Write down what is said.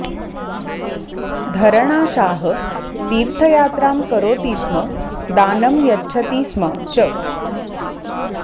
धरणाशाह तीर्थयात्रां करोति स्म दानं यच्छति स्म च